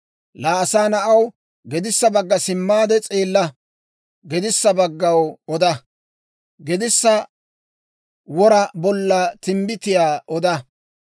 «Laa asaa na'aw, gedissa bagga simmaade s'eella; gedissa baggaw oda; gedissa wora bolla timbbitiyaa oda.